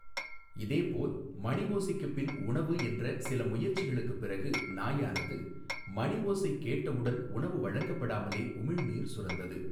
இதேபோல் மணிஓசைக்கு பின் உணவு என்ற சில முயற்சிகளுக்கு பிறகு நாயானது மணிஓசை கேட்ட உடன் உணவு வழங்கப்படாமலே உமிழ்நீர் சுரந்தது.